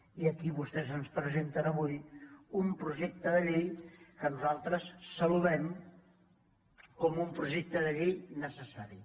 i aquí vostès ens presenten avui un projecte de llei que no·saltres saludem com un projecte de llei necessari